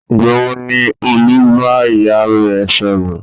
Ìgbà wo ni Olú bá ìyá rẹ̀ sọ̀rọ̀?